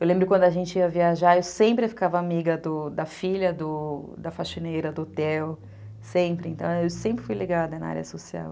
Eu lembro quando a gente ia viajar, eu sempre ficava amiga da filha da faxineira do hotel, sempre, então eu sempre fui ligada na área social.